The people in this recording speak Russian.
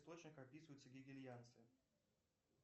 описываются гегельянцы